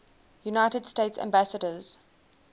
united states ambassadors